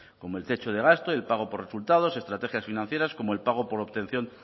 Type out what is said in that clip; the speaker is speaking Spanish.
como el techo de gasto y el pago por resultados estrategias financieras como el pago por obtención